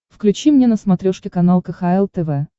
включи мне на смотрешке канал кхл тв